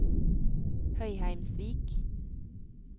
Høyheimsvik